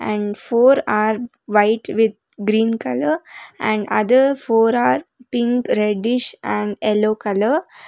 And four are white with green colour and other four are pink reddish and yellow colour.